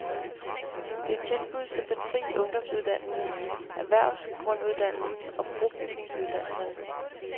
Det er tilbud som den fri ungdomsuddannelse, erhvervsgrunduddannelsen og brobygningsuddannelserne.